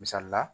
Misali la